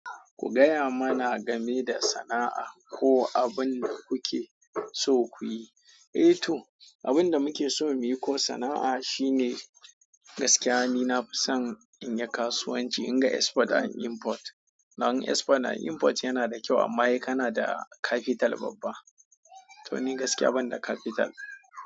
Ku gaya mana game da sana'a ko abun da kuke so kuyi. Eh to, abun da muke so muyi ko sana'a shi ne gaskiya ni nafison inyi kasuwan ci, in ga export an inport. Don export and inport yana da kyau amma sai kana da capital babba. To ni gaskiya ban da capital.